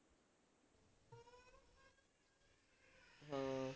ਹਮ